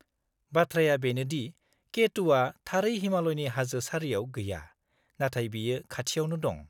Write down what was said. -बाथ्राया बेनो दि K2 आ थारै हिमालयनि हाजो सारियाव गैया, नाथाय बेयो खाथियावनो दं।